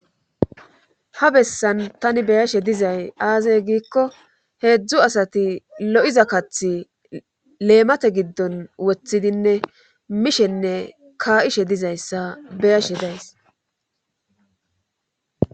ha bessan tani beyashe dizay aazay giikko heedzdzu asati lo7iza kathi leemate giddon woththidinne mishenne ka7ishe dizayssa beyashe days